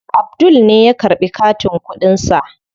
Abdul ne ya karɓi katin kuɗin sa.